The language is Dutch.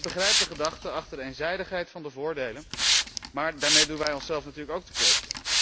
Ik begrijp de gedachte achter de eenzijdigheid van de voordelen, maar daarmee doen wij onszelf natuurlijk ook tekort.